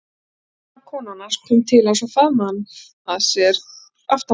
Dauðvona konan hans kom til hans og faðmaði hann að sér aftanfrá.